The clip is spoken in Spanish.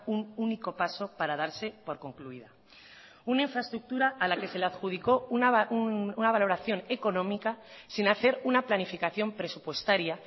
un único paso para darse por concluida una infraestructura a la que se le adjudicó una valoración económica sin hacer una planificación presupuestaria